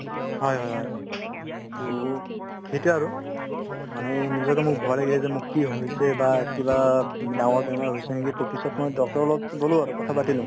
হয় হয় হয় to সেইটোয়ে আৰু মানে নিজৰো মোৰ ভয় লাগে যে মোৰ কি হৈছে বা কিবা ডাঙৰ বেমাৰ হৈছে নেকি to পিছত মই doctor ৰৰ লগত গ'লো আৰু কথা পাতিলো